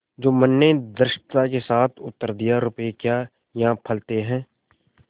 जुम्मन ने धृष्टता के साथ उत्तर दियारुपये क्या यहाँ फलते हैं